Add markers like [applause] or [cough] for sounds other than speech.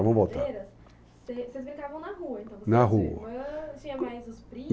[unintelligible] Vocês brincavam na rua então? Na rua. Você e a sua irmã... Tinha mais os primos?